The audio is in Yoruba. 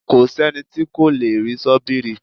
Kò sẹ́ni tí kò lè rí sọ́bìrì